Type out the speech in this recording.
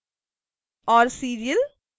और serial